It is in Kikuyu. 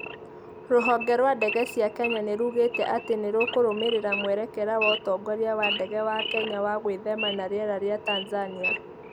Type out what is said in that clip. Rũhonge rwa ndege cia Kenya nĩ ruugĩte atĩ nĩrũkũrumĩrĩra mwerekera wa ũtongoria wa ndege wa Kenya wa gwithema na rĩera rĩa Tanzania